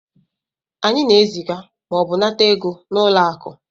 anyị na-eziga ma ọ bụ nata ego na ụlọ akụ